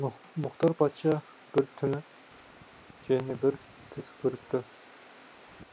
мұхтар патша бір түні және бір түс көріпті